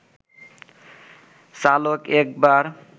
চালক একবার